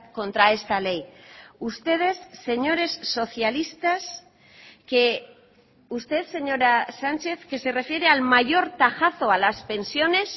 contra esta ley ustedes señores socialistas que usted señora sánchez que se refiere al mayor tajazo a las pensiones